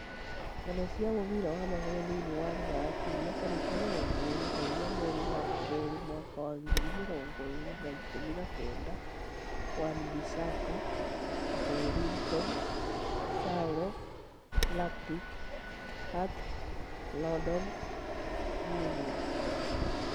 Ng'ano cia mũbira wa magũrũ thĩinĩ wa Rũraya kiumia tarĩki mĩrongo ĩĩrĩ na inya mweri wa keri mwaka wa ngiri mĩrongo ĩĩrĩ na ikũmi na kenda: Wan-Bissaka, Joelinton, Saul, Rakitic, Hart, Rondon, Meunier